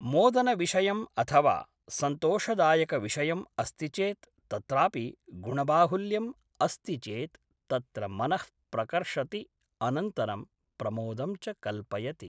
मोदनविषयम् अथवा सन्तोषदायकविषयम् अस्ति चेत् तत्रापि गुणबाहुल्यम् अस्ति चेत् तत्र मनः प्रकर्षति अनन्तरं प्रमोदं च कल्पयति